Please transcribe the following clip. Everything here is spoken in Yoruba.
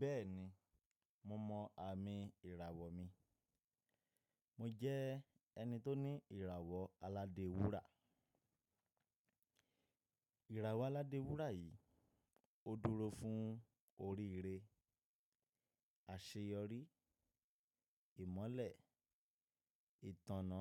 Bẹ́ẹ̀ni, mo mọ àmì ìràwọ̀ mi. Mo jẹ́ ẹni tó ní ìràwọ̀ aládé wúrà. Ìràwọ̀ aládé wúrà yìí ó dúró fún oríire, àṣeyọrí, ìmọ́lẹ̀, ìtànná